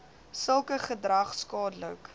sulke gedrag skadelik